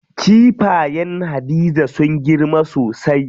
Kifayen Hadiza sun girma sosai.